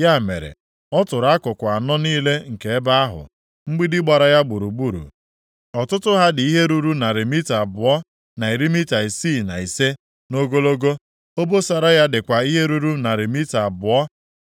Ya mere, ọ tụrụ akụkụ anọ niile nke ebe ahụ. Mgbidi gbara ya gburugburu. Ọtụtụ ha dị ihe ruru narị mita abụọ na iri mita isii na ise, nʼogologo, obosara ya dịkwa ihe ruru narị mita abụọ